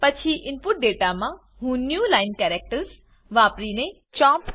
પછી input data મા હું ન્યૂ લાઇન કેરેક્ટર્સ વાપરીને ચોમ્પ